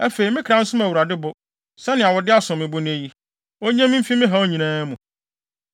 Afei, me kra nsom Awurade bo, sɛnea wo de asom me bo nnɛ yi. Onnye me mfi me haw nyinaa mu.”